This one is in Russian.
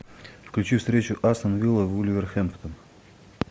включи встречу астон вилла вулверхэмптон